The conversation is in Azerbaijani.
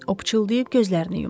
O pıçıldayıb gözlərini yumdu.